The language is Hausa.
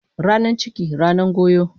Ranan ciki, ranan goyo.